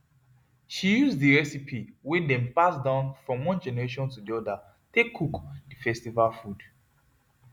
she use the recipe wey dem pass down from one generation to the other take cook the festival food